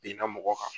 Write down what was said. Binna mɔgɔ kan